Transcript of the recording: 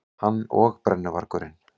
Hann og brennuvargurinn.